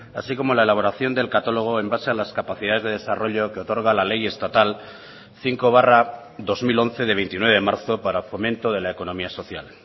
así como la elaboración del catálogo en base a las capacidades de desarrollo que otorga la ley estatal cinco barra dos mil once de veintinueve de marzo para fomento de la economía social